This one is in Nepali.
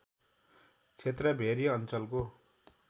क्षेत्र भेरी अञ्चलको